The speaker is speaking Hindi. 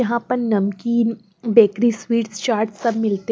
यहाँ पर नमकीन बेकरी स्वीट्स चाट सब मिलते --